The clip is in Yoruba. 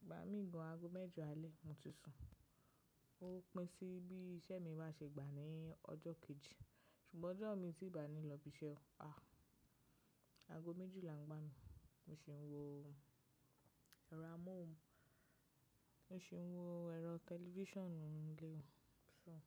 Ìgbà mí gan ago mẹ́jọ alẹ́, mo ti sùn. Ó pín sí bí iṣẹ́ mi bá ṣe gbà ní ọjọ́ kejì. Ṣùgbọ́n ọjọ́ mi tín bàá ní lọ ibi iṣẹ́ o, àh. Ago méjìlá ń gbá mi. Mo sì ń wo ẹ̀rọ amóhùn, mo sì ń wo ẹ̀rọ tẹlifíṣànù ninu ílé mi, sùn.